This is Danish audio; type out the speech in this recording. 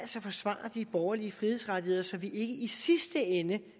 forsvare de borgerlige frihedsrettigheder så vi ikke i sidste ende